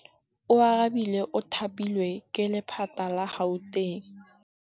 Oarabile o thapilwe ke lephata la Gauteng.